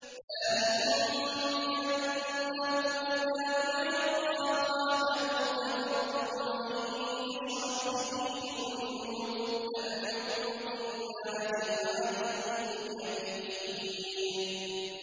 ذَٰلِكُم بِأَنَّهُ إِذَا دُعِيَ اللَّهُ وَحْدَهُ كَفَرْتُمْ ۖ وَإِن يُشْرَكْ بِهِ تُؤْمِنُوا ۚ فَالْحُكْمُ لِلَّهِ الْعَلِيِّ الْكَبِيرِ